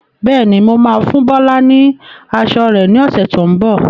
Bẹ́ẹ̀ni, mo máa fún Bọlá ni aṣọ rẹ ni ọ̀sẹ̀ tó ń bọ̀.